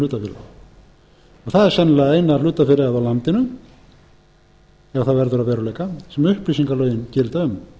sennilega eina hlutafélagið á landinu ef það verður að veruleika sem upplýsingalögin gilda um